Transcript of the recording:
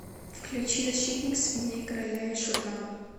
включи защитник свиней короля и шута